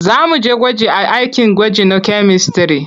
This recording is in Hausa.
Za mu je gwaji a akin gwaji na kyamistare.